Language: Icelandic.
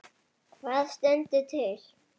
Hvað stendur til?